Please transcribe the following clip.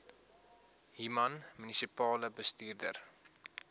human munisipale bestuurder